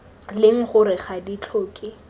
leng gore ga di tlhoke